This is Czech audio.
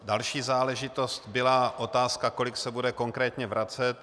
Další záležitost byla otázka, kolik se bude konkrétně vracet.